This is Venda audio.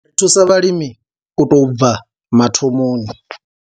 Ri thusa vhalimi u tou bva mathomoni.